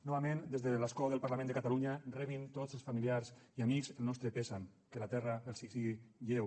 novament des de l’escó del parlament de catalunya rebin tots els familiars i amics el nostre condol que la terra els sigui lleu